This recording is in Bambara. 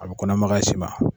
A bi kɔnɔmakaya s'i ma.